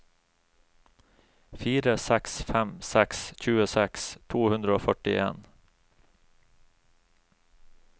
fire seks fem seks tjueseks to hundre og førtien